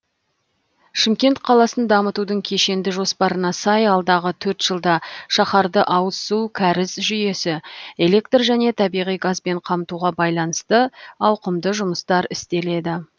шымкент қаласын дамытудың кешенді жоспарына сай алдағы төрт жылда шаһарды ауыз су кәріз жүйесі электр және табиғи газбен қамтуға байланысты ауқымды жұмыстар істеледі